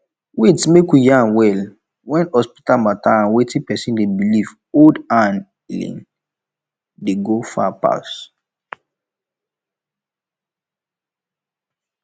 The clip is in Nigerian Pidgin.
wait make we yan well when hospital matter and wetin person dey believe hold hand healing dey go far pass